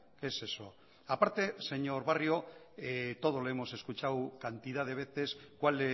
qué es eso a parte señor barrio todos lo hemos escuchado cantidad de veces cuál